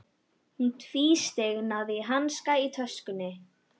Hún tvísteig, náði í hanska í töskunni.